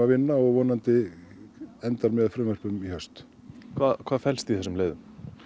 vinna og vonandi endar með frumvörpum í haust hvað fellst í þessum leiðum